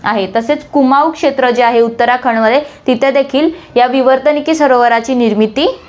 तसेच कुमाऊ क्षेत्र जे आहे उत्तराखंडमध्ये तिथे देखील या विवर्तनिकी सरोवराची निर्मिती आहे.